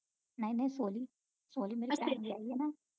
ਨਹੀਂ ਨਹੀਂ ਸੋਹਲੀ ਸੋਹਲੀ ਮੇਰੇ ਜਾਇਏ ਨਾ